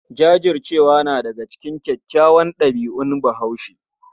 Jajircewa na daga cikin kyawawan ɗabi'un Bahaushe.